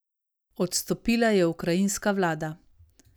Odstopila je ukrajinska vlada.